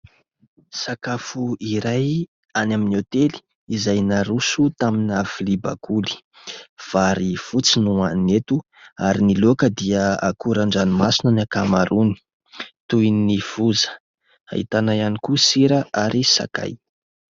Sakafo iray any amin'ny hôtely izay naroso tamina vilia bakoly. Vary fotsy no hoanina eto ary ny loaka dia akoran-dranomasina ny ankamaroany toy ny foza. Ahitana ihany koa sira ary sakay.